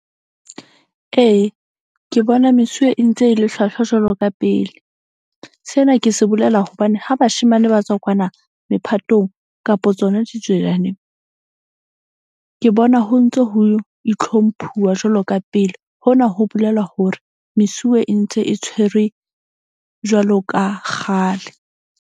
Ee, ke bona mesuwe e ntse e le hlwahlwa jwalo ka pele. Sena ke se bolela hobane ha bashemane ba tswa kwana mephatong kapa tsona . Ke bona ho ntso ho itlhomphuwa jwalo ka pele. Hona ho bolela hore mesuwe e ntse e tshwere jwalo ka kgale.